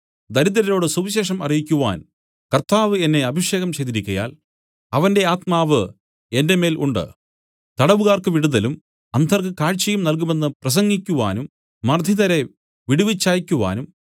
ദരിദ്രരോട് സുവിശേഷം അറിയിക്കുവാൻ കർത്താവ് എന്നെ അഭിഷേകം ചെയ്തിരിക്കയാൽ അവന്റെ ആത്മാവ് എന്റെ മേൽ ഉണ്ട് തടവുകാ‍ർക്ക് വിടുതലും അന്ധർക്ക് കാഴ്ചയും നൽകുമെന്ന് പ്രസംഗിക്കുവാനും മർദ്ദിതരെ വിടുവിച്ചയയ്ക്കുവാനും